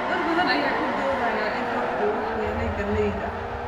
Dad badan ayaa ku doodaya in roobka uu waxyeeleeyay galleydii